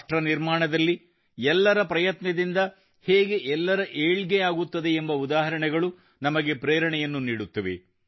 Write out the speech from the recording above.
ರಾಷ್ಟ್ರ ನಿರ್ಮಾಣದಲ್ಲಿ ಎಲ್ಲರ ಪ್ರಯತ್ನದಿಂದ ಹೇಗೆ ಎಲ್ಲರ ಏಳ್ಗೆಯಾಗುತ್ತದೆ ಎಂಬ ಉದಾಹರಣೆಗಳು ನಮಗೆ ಪ್ರೇರಣೆಯನ್ನು ನೀಡುತ್ತವೆ